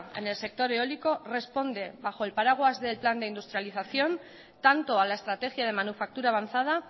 en el sector eólico responde bajo el paraguas del plan de industrialización tanto a la estrategia de manufactura avanzada